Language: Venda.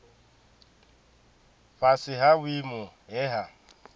fhasi ha vhuimo he ha